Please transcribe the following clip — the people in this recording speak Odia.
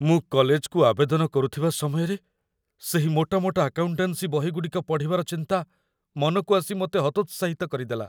ମୁଁ କଲେଜକୁ ଆବେଦନ କରୁଥିବା ସମୟରେ, ସେହି ମୋଟା ମୋଟା ଆକାଉଣ୍ଟାନ୍ସି ବହିଗୁଡ଼ିକ ପଢ଼ିବାର ଚିନ୍ତା ମନକୁ ଆସି ମୋତେ ହତୋତ୍ସାହିତ କରିଦେଲା।